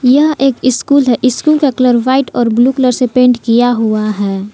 यह एक स्कूल है स्कूल का कलर व्हाइट और ब्लू कलर से पेंट किया हुआ है।